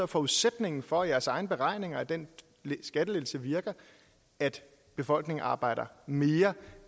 forudsætningen for jeres egne beregninger af at den skattelettelse virker at befolkningen arbejder mere